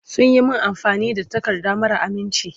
Sun yi min amfani da takarda mara aminci.